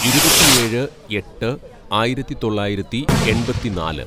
"ഇരുപത്തിയേഴ് എട്ട് ആയിരത്തിതൊള്ളായിരത്തി എണ്‍പത്തിന്നാല്‌